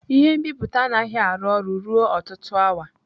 Ihe nbipute anaghị arụ ọrụ ruo ọtụtụ awa.